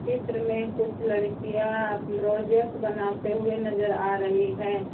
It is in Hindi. चित्र में कुछ लड़कियां आप प्रोजेक्ट बनाते हुए नजर आ रही है।